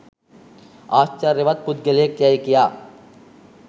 ආශ්චර්යවත් පුද්ගලයෙක් යැයි කියා